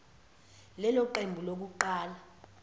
lelo qembu lokuqala